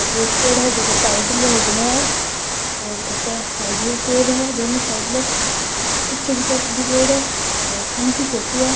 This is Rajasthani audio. और एक पेड़ है जेको साइड में वो बने है और घर के साइड में भी पेड़ है दोनों साइड में और पीछे की तरफ भी पेड़ है और दिन की फोटो है।